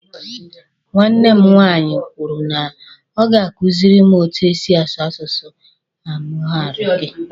Nwanne m nwaanyị kwuru na ọ ga-akuziri m etu e si asụ asụsụ amuhariki.